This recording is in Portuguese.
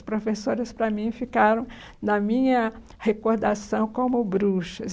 As professoras, para mim, ficaram na minha recordação como bruxas.